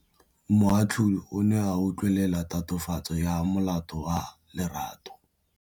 Moatlhodi o ne a utlwelela tatofatsô ya molato wa Lerato.